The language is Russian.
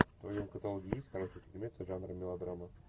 в твоем каталоге есть хороший фильм жанра мелодрама